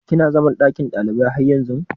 Kina zaman lakin kwanan ɗalibai har yanzun?